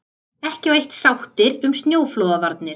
Ekki á eitt sáttir um snjóflóðavarnir